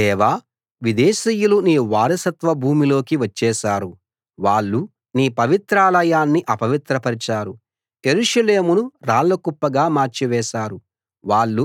దేవా విదేశీయులు నీ వారసత్వ భూమిలోకి వచ్చేశారు వాళ్ళు నీ పవిత్రాలయాన్ని అపవిత్రపరచారు యెరూషలేమును రాళ్ళ కుప్పగా మార్చివేశారు